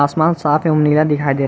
आसमान साफ एवं नीला दिखाई दे रा--